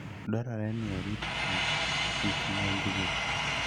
Dwarore ni orit kich kik monjgi.